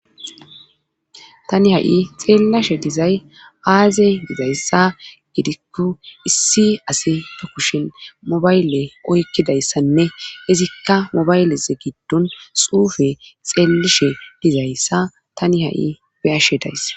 tani ha7i xeellashe dizay aazey dizayssa gidikku issi asi eb kushin mobayle oykkidayssanne izikka mobaylez giddon xuufe xeellishe dizayssa tani ha7i beyashe days